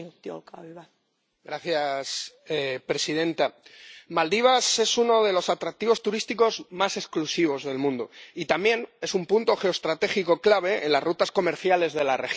Señora presidenta, Maldivas es uno de los destinos turísticos más atractivos y exclusivos del mundo y también es un punto geoestratégico clave en las rutas comerciales de la región.